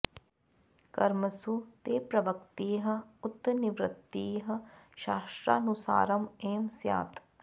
कर्मसु ते प्रवृत्तिः उत निवृत्तिः शास्त्रानुसारम् एव स्यात्